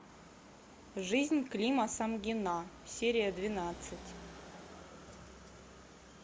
жизнь клима самгина серия двенадцать